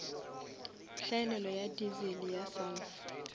hlaelelo ya diesel ya sulphur